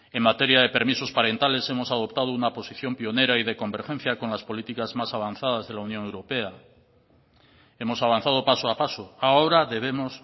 en materia de permisos parentales hemos adoptado una posición pionera y de convergencia con las políticas más avanzadas de la unión europea hemos avanzado paso a paso ahora debemos